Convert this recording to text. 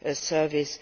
their service.